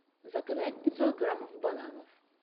заказать пятьсот граммов бананов